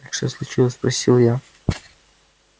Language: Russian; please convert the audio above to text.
так что случилось спросил я